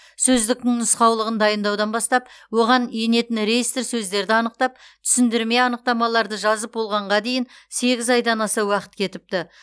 сөздіктің нұсқаулығын дайындаудан бастап оған енетін реестр сөздерді анықтап түсіндірме анықтамаларды жазып болғанға дейін сегіз айдан аса уақыт кетіпті